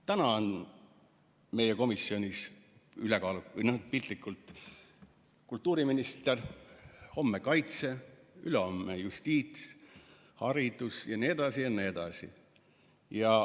Täna on meie komisjonis, piltlikult öeldes, kultuuriminister, homme kaitse-, ülehomme justiits-, haridus jne, jne.